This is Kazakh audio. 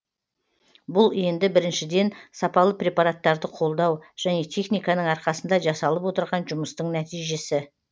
бұл енді біріншіден сапалы препараттарды қолдау және техниканың арқасында жасалып отырған жұмыстың нәтижесі